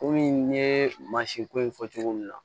Komi n ye mansin ko in fɔ cogo min na